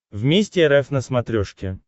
вместе рф на смотрешке